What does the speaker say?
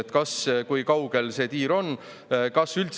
Kui kaugel selle tiiru on?